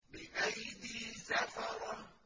بِأَيْدِي سَفَرَةٍ